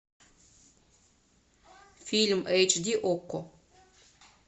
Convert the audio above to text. фильм эйч ди окко